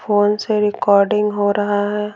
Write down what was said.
Phone से recording हो रहा है।